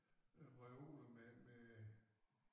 Øh reoler med med